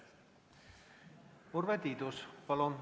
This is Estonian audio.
Urve Tiidus, palun!